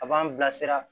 A b'an bilasira